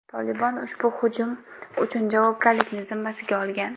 Tolibon ushbu hujum uchun javobgarlikni zimmasiga olgan.